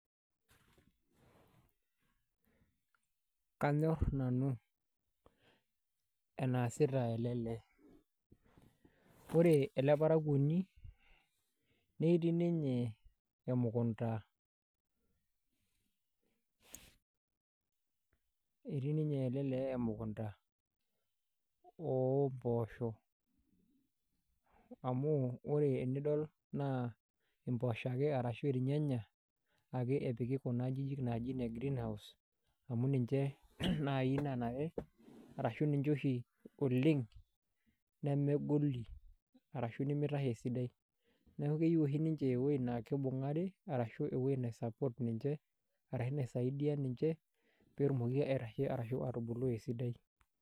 Kanyorr nanu enaasita ele lee. Ore ele parakwoni netii ninye emukunta, etii ninye ele lee emukunta oo mboosho. Amu ore enidol naa imboosho ake arashu irnyanya ake epiki nkajijik naaji ine Greenhouse amu ninche naai naanare ashu ninche oshi oleng nemegoli arashu nemitashe esidai. Neeku keyeu oshi ninche ewuei naa kibung'aari arashu ewuei nai support ninche arashu naisaidia ninche peetumoki aitashe arashu aatubulu esidai